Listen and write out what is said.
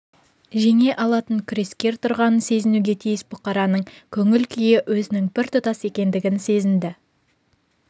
жеңе алатын күрескер тұрғанын сезінуге тиіс бұқараның көңіл-күйі өзінің біртұтас екендігін сезінді